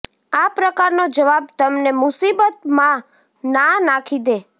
આ પ્રકારનો જવાબ તમને મુશીબત માં ના નાખી દે